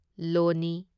ꯂꯣꯅꯤ